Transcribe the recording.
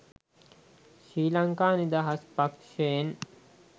ශ්‍රී ලංකා නිදහස් පක්ෂයෙන්.